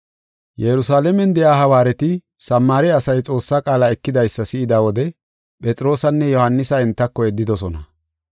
Yerusalaamen de7iya hawaareti Samaare asay Xoossaa qaala ekidaysa si7ida wode Phexroosanne Yohaanisa entako yeddidosona.